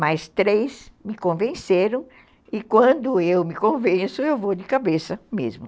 Mas três me convenceram e quando eu me convenço, eu vou de cabeça mesmo.